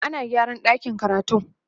ana gyara ɗakin karatun